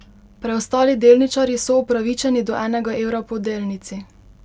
Preostali delničarji so upravičeni do enega evra po delnici.